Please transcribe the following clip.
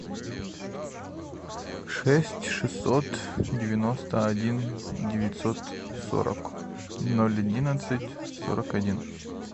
шесть шестьсот девяносто один девятьсот сорок ноль одиннадцать сорок один